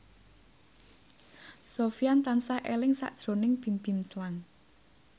Sofyan tansah eling sakjroning Bimbim Slank